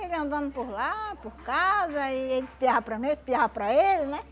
Ele andando por lá, por casa, aí ele espiava para mim, eu espiava para ele, né?